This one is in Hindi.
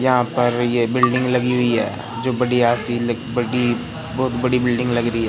यहां पर ये बिल्डिंग लगी हुई है जो बढ़िया सी ल बड़ी बहोत बड़ी बिल्डिंग लग रही है।